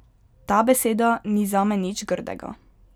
Ta beseda ni zame nič grdega.